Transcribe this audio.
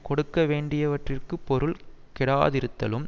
கொடுக்க வேண்டியவற்றிற்கு பொருள் கெடாதிருத்தலும்